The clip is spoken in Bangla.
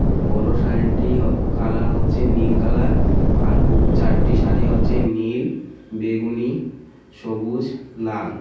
বড় শাড়িটি হ কালার হচ্ছে নীল কালার আর উ চারটি শাড়ি হচ্ছে নীল বেগুনি সবুজ লাল.